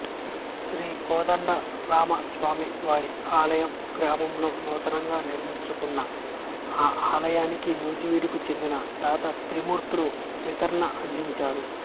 శ్రీ కోదండరామస్వామివారి ఆలయంగ్రామంలో నూతనంగా నిర్మించుచున్న ఈ ఆలయానికి నూజివీడుకు చెందిన దాత త్రిమూర్తులు వితరణ అందించారు